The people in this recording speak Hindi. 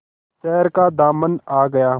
शहर का दामन आ गया